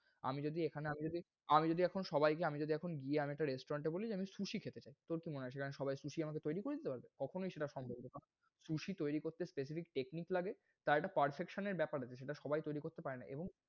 আমি যদি এখানে, আমি যদি, আমি যদি এখন সবাইকে, আমি যদি এখন গিয়ে আমি যদি একটা restaurant এ বলি যে আমি susie খেতে চাই। তোর কি মনে হয় সেটা সবাই susie আমাকে তৈরি করে দিতে পারবে? কখনই সেটা সম্ভব না। susie তৈরি করতে specific technic লাগে তার একটা perfection এর বেপার আছে যেটা সবাই তৈরি করতে পারে না। এবং